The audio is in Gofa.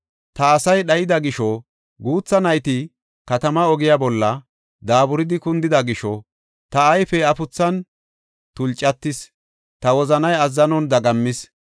Ta asay dhayida gisho, guutha nayti katamaa ogiya bolla daaburidi kundida gisho, ta ayfey afuthan tulcatis; ta wozanay azzanon dagammis.